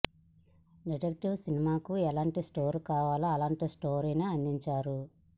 detective సినిమాలకు ఎలాంటి score కావాలో అలంటి స్కోర్ నే అందించారు